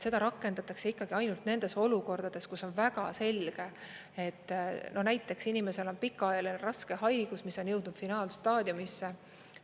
Seda rakendatakse ikkagi ainult nendes olukordades, kus on väga selge, näiteks inimesel on pikaajaline raske haigus, mis on jõudnud finaalstaadiumisse.